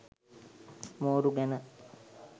මෝරු ගැන